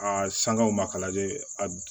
A sangaw ma ka lajɛ a